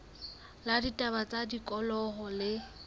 la ditaba tsa tikoloho le